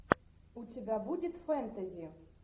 у тебя будет фэнтези